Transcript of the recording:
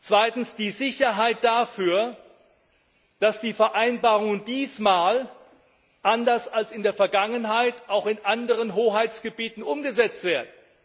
Zweitens Wir brauchen die Sicherheit dafür, dass die Vereinbarungen diesmal anders als in der Vergangenheit auch in anderen Hoheitsgebieten umgesetzt werden.